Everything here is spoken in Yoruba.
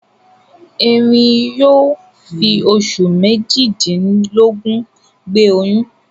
Eerin yóò fi oṣù méjìdínlógún gbé oyún.